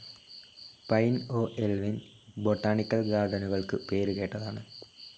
Pine Oo Lwin botanical ഗാർഡനുകൾക്ക് പേരുകേട്ടതാണ്.